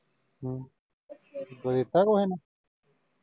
ਹਮ ਕੁਝ ਦਿੱਤਾ ਕੁਝ ਇਸਨੇ